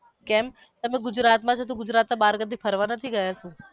કેમ તમે ગુજરાત માં છો તો ગુજરાત ના બાર કદી ફરવા નથી ગયા શુ.